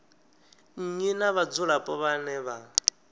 nnyi na vhadzulapo vhane vha